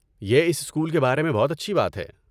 یہ اس اسکول کے بارے میں بہت اچھی بات ہے۔